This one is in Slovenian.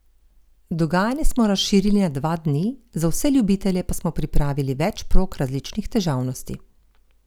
Dogajanje smo razširili na dva dni, za vse ljubitelje pa smo pripravili več prog različnih težavnosti.